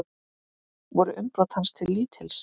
Voru umbrot hans til lítils.